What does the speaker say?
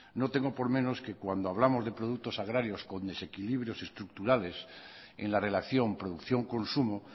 no tengo por menos que cuando hablamos de productos agrarios con desequilibrios estructurales en la relación producción consumo